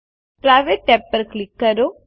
private tab ઉપર click કરો